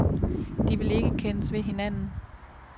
De vil ikke kendes ved hinanden.